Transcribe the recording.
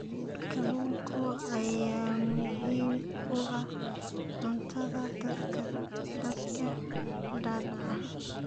Kalluunka ayaa muhiim u ah cuntada dadka da'da ah.